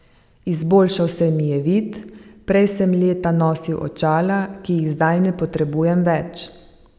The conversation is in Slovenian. Izboljšal se mi je vid, prej sem leta nosil očala, ki jih zdaj ne potrebujem več.